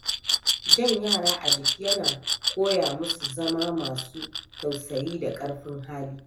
Jan yara a jiki yana koya musu zama masu tausayi da ƙarfin hali.